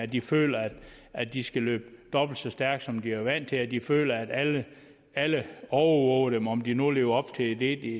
de føler at de skal løbe dobbelt så stærkt som de er vant til så de føler at alle alle overvåger dem om de nu lever op til det